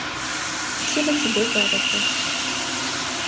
спасибо тебе за это